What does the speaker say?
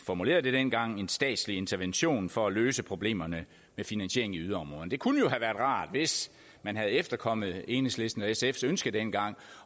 formulerede det dengang en statslig intervention for at løse problemerne med finansiering i yderområderne det kunne jo have været rart hvis man havde efterkommet enhedslisten og sfs ønske dengang